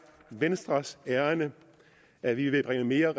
venstres ærinde at vi vil bringe mere